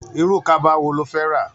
Irú kaba wo lo fé rà?